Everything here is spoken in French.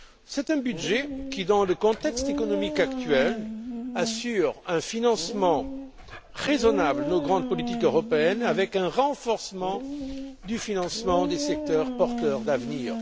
C'est un budget qui, dans le contexte économique actuel, assure un financement raisonnable de nos grandes politiques européennes, avec un renforcement du financement des secteurs porteurs d'avenir.